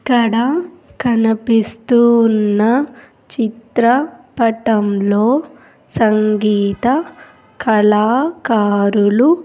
ఇక్కడ కనపిస్తున్న చిత్రపటంలో సంగీత కళాకారులు --